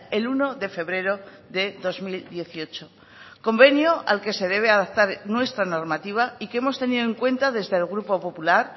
el uno de febrero de dos mil dieciocho convenio al que se debe adaptar nuestra normativa y que hemos tenido en cuenta desde el grupo popular